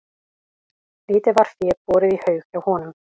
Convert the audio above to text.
Lítið var fé borið í haug hjá honum.